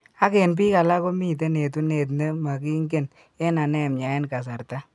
Ak, en biik alakmiiten etunet ne makiinken en anemia en kasarta